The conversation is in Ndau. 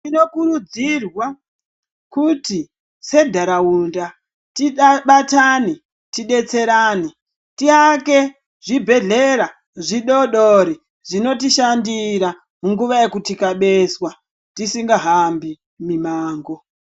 Tinokurudzirwa kuti sentaraunda tibatane tidetserane tiake zvibhehlera zvidodori zvinotishandira munguva yekutikabezwa tisingahambi mimango.